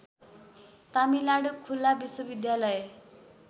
तमिलनाडु खुल्ला विश्वविद्यालय